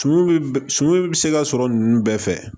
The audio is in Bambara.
Suman bi suman bi se ka sɔrɔ ninnu bɛɛ fɛ